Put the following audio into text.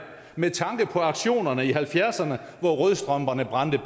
med tanke på aktionerne i nitten halvfjerdserne hvor rødstrømperne brændte